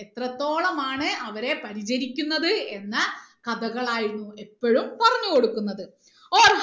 എത്രത്തോളമാണ് അവരെ പരിചരിക്കുന്നത് എന്ന കഥകളായിരുന്നു എപ്പോഴും പറഞ്ഞ് കൊടുക്കുന്നത്